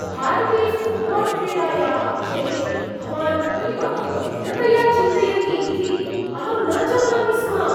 भारतीयफ़ुट्बाल्क्रीडायाः विषये भवान् एवं गभीरतया चिन्तयति इति अहं न जानामि स्म।